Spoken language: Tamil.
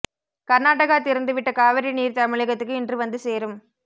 கர்நாடகா திறந்து விட்ட காவிரி நீர் தமிழகத்துக்கு இன்று வந்து சேரும்